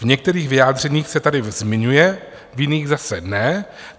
V některých vyjádřeních se tarif zmiňuje, v jiných zase ne.